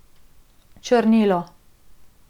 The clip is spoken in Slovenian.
Črnilo.